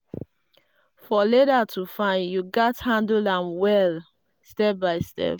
for leather to fine you gatz handle am well step by step.